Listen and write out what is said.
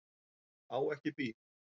Á ekki bíl.